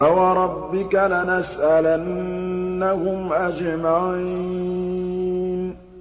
فَوَرَبِّكَ لَنَسْأَلَنَّهُمْ أَجْمَعِينَ